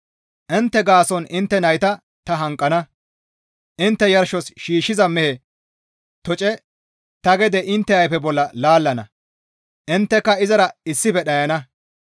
«Intte gaason intte nayta ta hanqana; intte yarshos shiishshiza mehe toce ta gede intte ayfe bolla laallana; intteka izara issife dhayana.